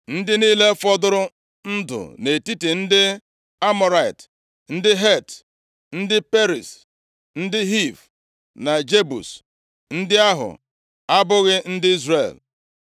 Ndị niile fọdụrụ ndụ nʼetiti ndị Amọrait, ndị Het, ndị Periz, ndị Hiv na Jebus (ndị ahụ abụghị ndị Izrel),